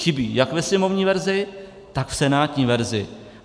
Chybí jak ve sněmovní verzi, tak v senátní verzi.